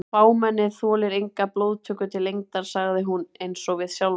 Fámennið þolir enga blóðtöku til lengdar sagði hún einsog við sjálfa sig.